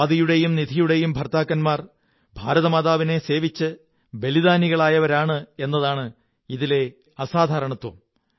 സ്വാതിയുടെയും നിധിയുടെയും ഭര്ത്താ ക്കന്മാർ ഭാരതമാതാവിനെ സേവിച്ച് ബലിദാനികളായവരാണ് എന്നതാണ് ഇതിലെ അസാധാരണത്വം